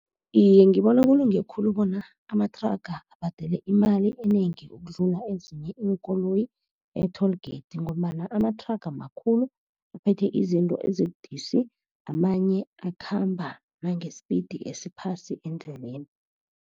Iye, ngibona kulunge khulu bona amathraga abhadele imali enengi ukudlula ezinye iinkoloyi e-toll gate, ngombana amathraga makhulu, aphethe izinto ezibudisi. Amanye akhamba nange-speed esiphasi endleleni.